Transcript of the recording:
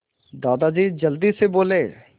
दादाजी जल्दी से बोले